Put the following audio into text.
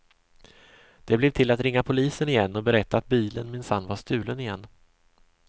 Det blev till att ringa polisen igen och berätta att bilen minsann var stulen igen.